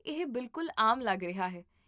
ਇਹ ਬਿਲਕੁੱਲ ਆਮ ਲੱਗ ਰਿਹਾ ਹੈ